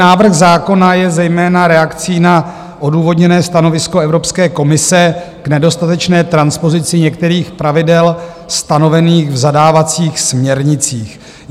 Návrh zákona je zejména reakcí na odůvodněné stanovisko Evropské komise k nedostatečné transpozici některých pravidel stanovených v zadávacích směrnicích.